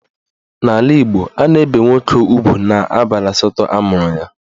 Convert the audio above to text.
N'ala Igbo, a na-ebe nwoke ugwu n'abalị asatọ amụrụ ya.